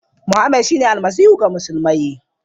Mohammed shine Almasihu ga musulmai.